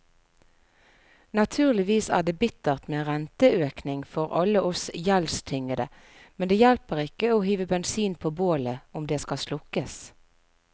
Naturligvis er det bittert med renteøkning for alle oss gjeldstyngede, men det hjelper ikke å hive bensin på bålet om det skal slukkes.